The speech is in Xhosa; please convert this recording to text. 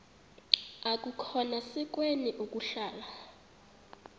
akukhona sikweni ukuhlala